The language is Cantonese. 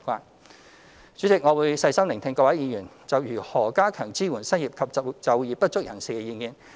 代理主席，我會細心聆聽各位議員就如何加強支援失業及就業不足人士的意見。